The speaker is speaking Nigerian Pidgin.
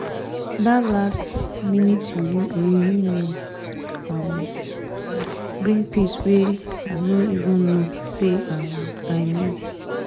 that last-minute reunion um bring peace wey i no even know say um i need.